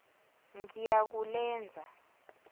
ngiyakulenza